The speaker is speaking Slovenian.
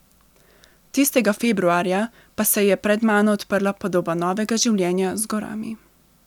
Tistega februarja pa se je pred mano odprla podoba novega življenja z gorami.